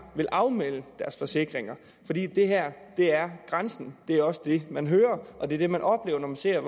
vil afmelde deres forsikringer fordi det her er grænsen det er også det man hører og det er det man oplever man ser